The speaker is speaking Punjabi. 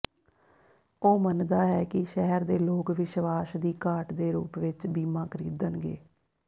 ਉਹ ਮੰਨਦਾ ਹੈ ਕਿ ਸ਼ਹਿਰ ਦੇ ਲੋਕ ਵਿਸ਼ਵਾਸ ਦੀ ਘਾਟ ਦੇ ਰੂਪ ਵਿੱਚ ਬੀਮਾ ਖਰੀਦਣਗੇ